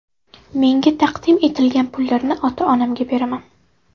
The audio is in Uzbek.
Menga taqdim etilgan pullarni ota-onamga beraman.